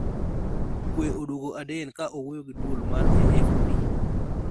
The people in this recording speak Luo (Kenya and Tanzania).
Kwe oduogo Aden ka owuoyo gi duol mar AFP